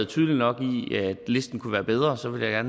tydeligt nok at listen kunne være bedre så vil jeg